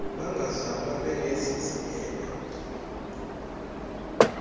bangazalwa benezi ziphene